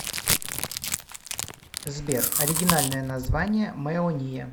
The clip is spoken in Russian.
сбер оригинальное название мэония